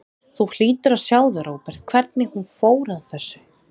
Þú hlýtur að sjá það, Róbert, hvernig hún fór að þessu.